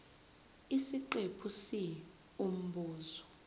isiqephu c umbuzo